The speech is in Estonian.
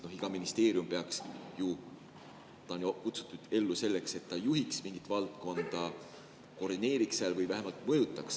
Aga iga ministeerium peaks ju olema ellu kutsutud selleks, et ta juhiks mingit valdkonda, koordineeriks seda või vähemalt mõjutaks.